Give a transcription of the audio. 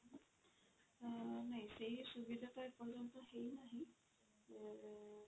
ଅ ନାଇଁ ସେଇ ସୁବିଧା ଟା ଏ ପର୍ଯ୍ୟନ୍ତ ହେଇ ନାହିଁ ଏ